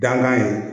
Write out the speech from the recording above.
Dankan ye